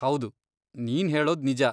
ಹೌದು, ನೀನ್ ಹೇಳೋದ್ ನಿಜ.